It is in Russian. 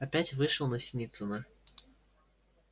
опять вышел на синицына